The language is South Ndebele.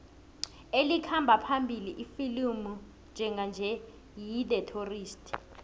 elikhamba phambili ifilimu njenganje yi the tourist